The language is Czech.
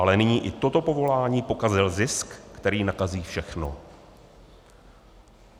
Ale nyní i toto povolání pokazil zisk, který nakazí všechno.